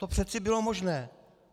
To přece bylo možné.